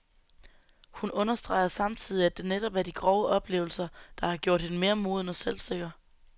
Hun understreger samtidig, at det netop er de grove oplevelser, der har gjort hende mere moden og selvsikker.